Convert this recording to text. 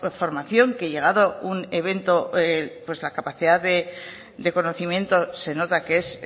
formación que llegado un evento pues la capacidad de conocimiento se nota que es